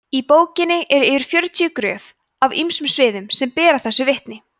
í bókinni eru yfir fjörutíu gröf af ýmsum sviðum sem bera þessu vitni